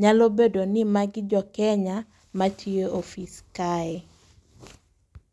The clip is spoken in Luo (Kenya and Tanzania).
Nyalo bedo ni magi jo Kenya ma tiyo ofis kae.